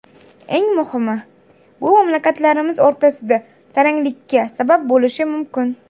Eng muhimi, bu mamlakatlarimiz o‘rtasida taranglikka sabab bo‘lishi mumkin.